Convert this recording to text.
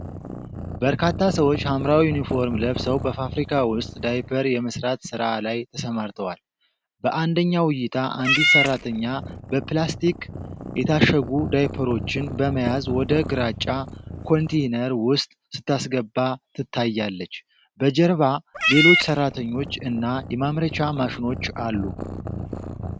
በርካታ ሰዎች ሐምራዊ ዩኒፎርም ለብሰው በፋብሪካ ውስጥ ዳይፐር የመስራት ሥራ ላይ ተሰማርተዋል። በአንደኛው እይታ አንዲት ሰራተኛ በፕላስቲክ የታሸጉ ዳይፐሮችን በመያዝ ወደ ግራጫ ኮንቴይነር ውስጥ ስታስገባ ትታያለች። በጀርባ ሌሎች ሰራተኞች እና የማምረቻ ማሽኖች አሉ።